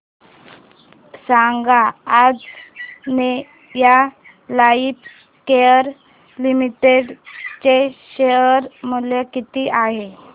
सांगा Anjaneya lifecare limited चे share मूल्य किती आहे